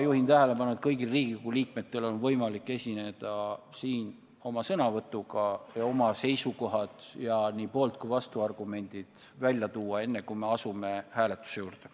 Juhin tähelepanu, et kõigil Riigikogu liikmetel on võimalik esineda siin sõnavõtuga ning tuua välja oma seisukohad ja nii poolt- kui ka vastuargumendid, enne kui me hääletama asume.